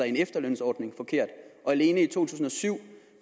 en efterlønsordning alene i to tusind og syv